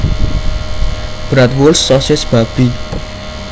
Bratwurst sosis babi